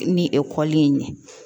Ni ekɔli in ɲɛ